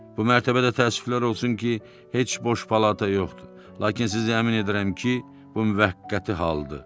Bu mərtəbədə təəssüflər olsun ki, heç boş palata yoxdur, lakin sizi əmin edirəm ki, bu müvəqqəti haldır.